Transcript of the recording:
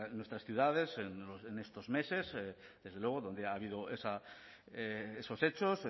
en nuestras ciudades en estos meses desde luego donde ha habido esos hechos